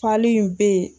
Fali in be yen